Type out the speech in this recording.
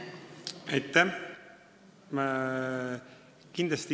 Aitäh!